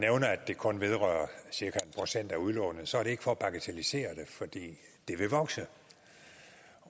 det kun vedrører cirka en procent af udlånet er det ikke for at bagatellisere det for det vil vokse